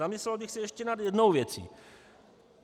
Zamyslel bych se ještě nad jednou věcí.